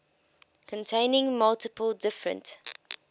containing multiple different